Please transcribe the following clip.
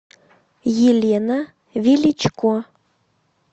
елена величко